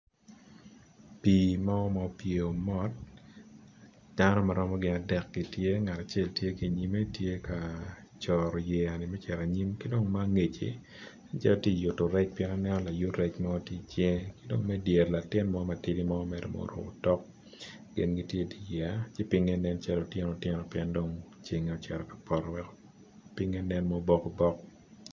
Pi mo ma opyeo mot dano maromo adek gitye ngatacel tye ki angec tye ka coto yeya me ceto anyim ki dong ma angec ci nen calo tye ka yuto rec pien aneno layut rec tye i cinge kidong me dyere ni latin mo matidi mo mere ma oruko tok gin gitye i dye yeya ki pinge nen calo otyeno otyeno pien dong ceng tye cito poto weko pinge nen obok obok.